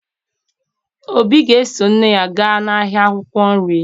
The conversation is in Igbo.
Obi ga-eso nne ya gaa n'ahịa akwụkwọ nri